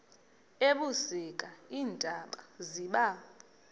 ebusika iintaba ziba